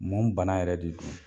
Mun bana yɛrɛ de don?